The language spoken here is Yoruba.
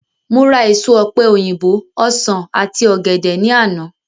Mo ra èso ọ̀pe òyìnbó, ọsán àti ògèdè ní àná